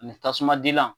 Ani tasuma dilan